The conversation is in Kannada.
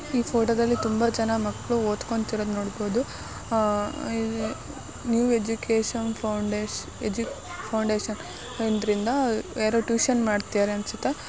ಈ ಫೋಟೋದಲ್ಲಿ ತುಂಬ ಜನ ಮಕ್ಳು ಓದ್ಕೊಂತ್ತಿರೋದ್ ನೋಡ್ಬೋದು. Uh new education foundation edu foundation ಇದ್ರಿಂದ ಯಾರೊ ಟ್ಯೂಷನ್ ಮಾಡ್ತಿದ್ದಾರೆ ಅನ್ಸುತ್ತೆ.